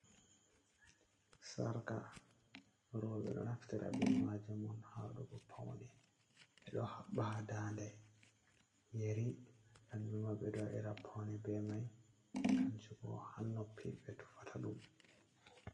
Sarka roɓɓe ɗo naftira be majum on ha waɗugo paune ɓeɗo haɓɓa ha dande, yeri kanjum ma ɓe ɗo waɗira paune be mai kanju bo ha noppi ɓe tufata ɗum.